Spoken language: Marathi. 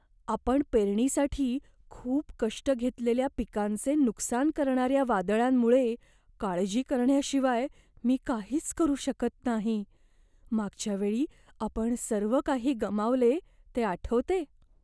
आपण पेरणीसाठी खूप कष्ट घेतलेल्या पिकांचे नुकसान करणाऱ्या वादळांमुळे काळजी करण्याशिवाय मी काहीच करू शकत नाही. मागच्या वेळी आपण सर्व काही गमावले ते आठवते?